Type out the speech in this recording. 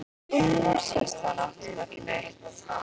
Og nú sést náttúrlega ekki neitt.